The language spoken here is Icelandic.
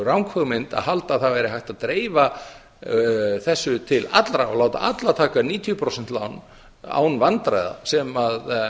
ranghugmynd að halda að það væri hægt að dreifa þessu til allra og láta alla taka níutíu prósent lán án vandræða sem